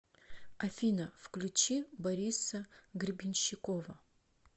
афина включи бориса гребенщикова